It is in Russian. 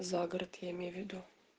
загород я имею в виду